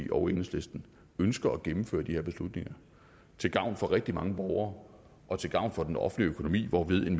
og enhedslisten ønsker at gennemføre de her beslutninger til gavn for rigtig mange borgere og til gavn for den offentlige økonomi hvorved en